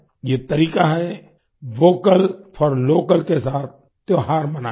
ये तरीका है वोकल फोर लोकल के साथ त्योहार मनाने का